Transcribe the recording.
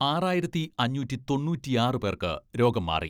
ആറായിരത്തി അഞ്ഞൂറ്റി തൊണ്ണൂറ്റിയാറ് പേർക്ക് രോഗം മാറി.